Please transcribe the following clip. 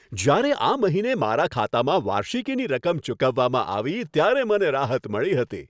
જ્યારે આ મહિને મારા ખાતામાં વાર્ષિકીની રકમ ચૂકવવામાં આવી, ત્યારે મને રાહત મળી હતી.